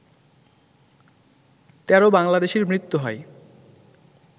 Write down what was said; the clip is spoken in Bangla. ১৩ বাংলাদেশির মৃত্যু হয়